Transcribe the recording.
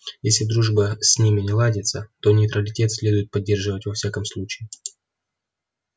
если дружба с ними не ладится то нейтралитет следует поддерживать во всяком случае